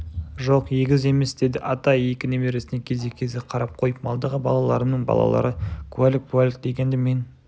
жоқ егіз емес деді атай екі немересіне кезек-кезек қарап қойып малдағы балаларымның балалары куәлік-пуәлік дегенді мен